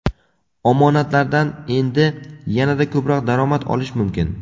Omonatlardan endi yanada ko‘proq daromad olish mumkin!.